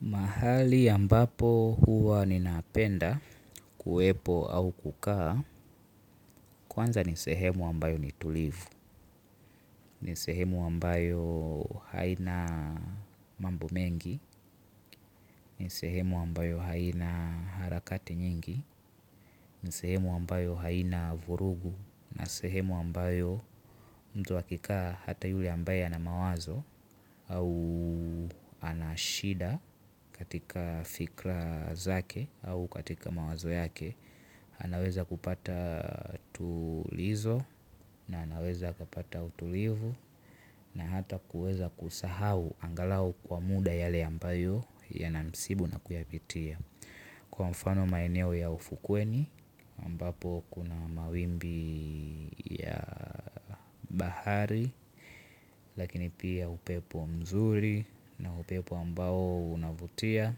Mahali ambapo huwa nina penda kuwepo au kukaa, kwanza ni sehemu ambayo ni tulivu, ni sehemu ambayo haina mambo mengi, ni sehemu ambayo haina harakati nyingi, ni sehemu ambayo haina vurugu, na sehemu ambayo mtu akikaa hata yule ambaye ana mawazo au anashida katika fikra zake au katika mawazo yake anaweza kupata tulizo na anaweza akapata utulivu na hata kuweza kusahau angalau kwa muda yale ambayo ya na msibu na kuyapitia. Kwa mfano maeneo ya ufukweni ambapo kuna mawimbi ya bahari lakini pia upepo mzuri na upepo ambao unavutia